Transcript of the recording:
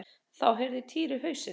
En þá hreyfði Týri hausinn.